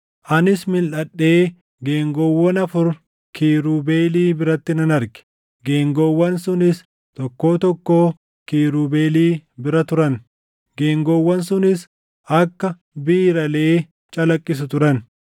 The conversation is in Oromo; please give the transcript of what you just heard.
Anis milʼadhee geengoowwan afur kiirubeelii biratti nan arge; geengoowwan sunis tokkoo tokkoo kiirubeelii bira turan; geengoowwan sunis akka biiralee calaqqisu turan.